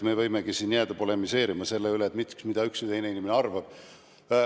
Me võimegi siin jääda polemiseerima selle üle, mida üks või teine inimene arvab.